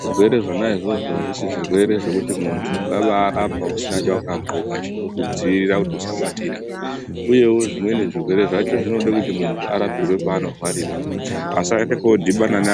zvirwere zvona zvozvo azvisi zvirwere zvekuti muntu ungabai rapa usina chawaka ndxoka chinoku dzivirira kuti usabatira uyewo zvimweni zvirwere zvacho zvinoda kuti muntu arapirwe paano rwarira asaenda ko dhibhana ne amweni.